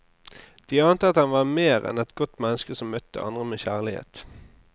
De ante at han var mer enn et godt menneske som møtte andre med kjærlighet.